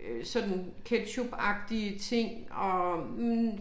øh sådan ketchupagtige ting og hm